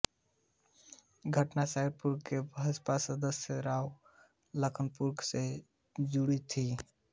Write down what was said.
घटना सहारनपुर के भाजपा सांसद राघव लखनपाल से जुड़ी थी